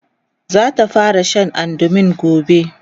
zata fara Sha andumin gobe